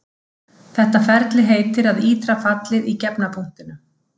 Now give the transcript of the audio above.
Þetta ferli heitir að ítra fallið í gefna punktinum.